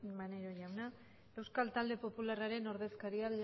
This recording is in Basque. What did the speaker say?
maneiro jauna euskal talde popularraren ordezkariak